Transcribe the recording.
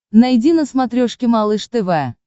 найди на смотрешке малыш тв